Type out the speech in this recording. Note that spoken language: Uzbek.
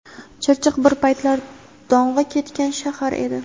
Chirchiq bir paytlar dong‘i ketgan shahar edi.